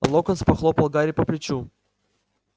локонс похлопал гарри по плечу